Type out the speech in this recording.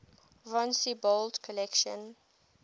von siebold's collection